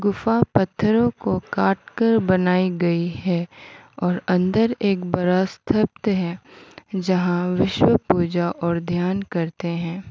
गुफा पत्थरों को काटकर बनाई गई है और अंदर एक बड़ा स्तब्ध है जहां विष्णु पूजा और ध्यान करते है।